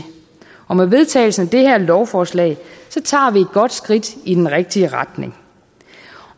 og med vedtagelsen af det her lovforslag tager vi et godt skridt i den rigtige retning